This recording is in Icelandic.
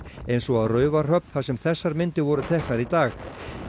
eins og á Raufarhöfn þar sem þessar myndir voru teknar í dag